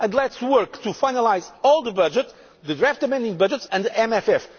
Let us work to finalise all the budgets the draft amending budgets and the MFF.